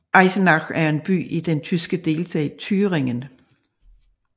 Eisenach er en by i den tyske delstat Thüringen